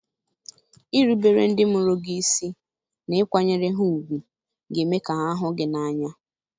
Irubere ndị mụrụ gị isi na ịkwanyere ha ùgwù ga-eme ka ha hụ gị n’anya.